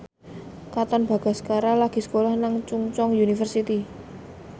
Katon Bagaskara lagi sekolah nang Chungceong University